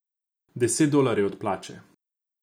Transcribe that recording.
Deset dolarjev od plače.